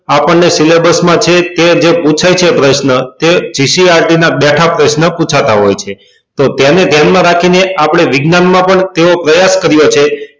આપણને syllabus માં છે કે તે પુછાય છે પ્રશ્ન તે ccrt ના બેઠા પ્રશ્ન પુછાતા હોય છે તો તેને ધ્યાન માં રાખી ને આપડે વિજ્ઞાન માં પણ તેવો પ્રયાસ કર્યો છે